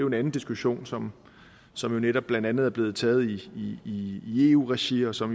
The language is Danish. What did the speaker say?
en anden diskussion som som netop blandt andet er blevet taget i i eu regi og som